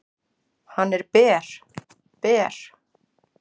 """Hann er ber, ber."""